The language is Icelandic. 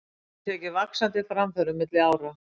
Hefur tekið vaxandi framförum milli ára.